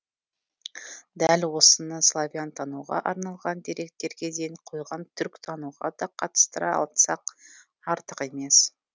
дәл осыны славянтануға арналған деректерге ден қойған түркітануға да қатыстыра айтсақ артық емес